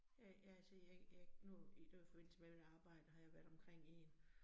Ja jeg altså jeg jeg nu, i det var i forbindelse med mit arbejde har jeg været omkring i